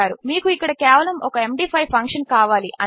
మీకు ఇక్కడ కేవలము ఒక ఎండీ5 ఫంక్షన్ కావాలి అంతే